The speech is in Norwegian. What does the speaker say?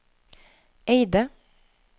Eide